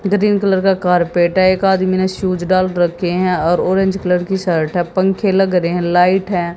Green colour का carpet है एक आदमी ने शूज डाल रखे हैं और ऑरेंज कलर की शर्ट है पंखे लग रहे हैं लाइट है।